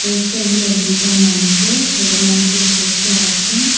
পোস্টারগুলা দুইটা মানুষের ছেলে মানুষের পোস্টার আসে।